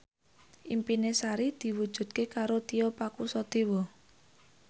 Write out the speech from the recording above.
impine Sari diwujudke karo Tio Pakusadewo